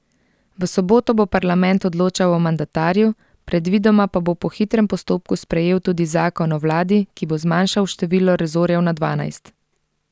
V soboto bo parlament odločal o mandatarju, predvidoma pa bo po hitrem postopku sprejel tudi zakon o vladi, ki bo zmanjšal število resorjev na dvanajst.